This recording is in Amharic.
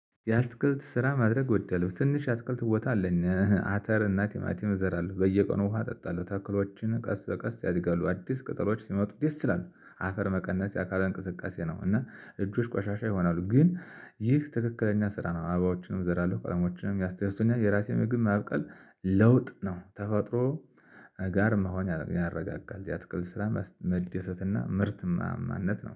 ያአትክልት ስራ ማድረግ እወዳለሁ ትንሽ የአትክልት ቦታ አለን አተርና ቲማቲም እዘራለሁ በየቀኑ ውሃ አጠጣለሁ ተክሎችን ቀስ በቀስ ያድጋሉ አዲስ ቅጠሎች ሲመጡ ደስ ይላሉ። አፈር መቀነስ የአካል እንቅስቃሴ ነው። እና እጆች ቆሻሻ ይሆናሉ ግን ይህ ትክክለኛ ስራ ነው። አባባዎችንም እዘራለሁ ቀለሞችንም ያስደስቱኛል የራሴን ምግብ ማብቀል። ለውጥ ነው ተፈጥሮ ጋር መሆን ያረጋጋል። የአትክልት ስራ መደሰትና ምርት ማማነት ነው